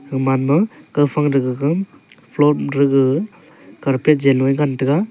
gaman ma kawfang ke gaga floor ma tra gaga carpet janvoi ngantega.